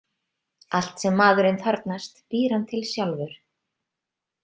Allt sem maðurinn þarfnast, býr hann til sjálfur.